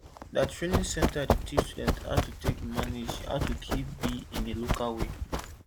der training center dey teach students how to take manage how to keep bee in a local way